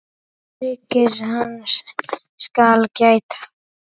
Öryggis hans skal gætt.